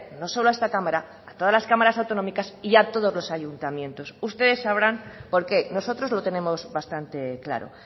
no solo a esta cámara a todas las cámaras autonómicas y a todos los ayuntamientos ustedes sabrán por qué nosotros lo tenemos bastante claro